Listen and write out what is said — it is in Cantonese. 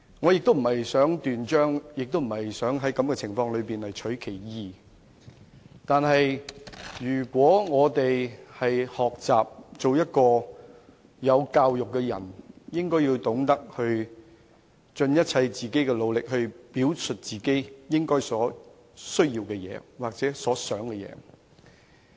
我不想在此斷章取義，但想學習做一個有教養的人，便應該懂得盡一切努力，表述自己的需要或所想的事情。